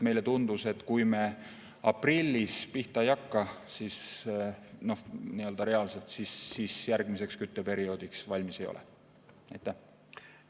Meile tundus, et kui me aprillis pihta ei hakka, siis reaalselt järgmiseks kütteperioodiks valmis ei ole.